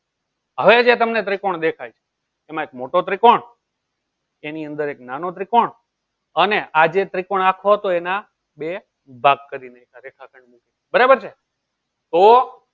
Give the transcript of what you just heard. હવે જે તમને ત્રિકોણ દેખાય છે. એમાં એક મોટો ત્રિકોણ એની અંદર એક નાનો ત્રિકોણ અને આજે ત્રિકોણ આખો હતો એના બે ભાગ કરીને રેખાખંડ બરાબર છે તો